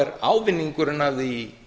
er ávinningurinn af því